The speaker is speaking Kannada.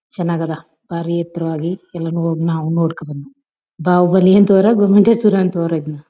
ಚನ್ನಗದ ಪರಿಯಾತ್ರವಾಗಿ ಎಲ್ಲಾನು ಹೋಗಿ ನಾವು ನೋಡ್ಕೊಂಡು ಬಂದ್ವಿ. ಬಹುಬಾಲಿ ಅಂಥವ್ರ ಗೋಮಟೇಶ್ವರ ಅಂಥವರ ಇದನ್ನ.